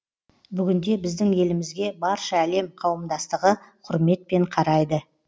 бүгінде біздің елімізге барша әлем қауымдастығы құрметпен қарайды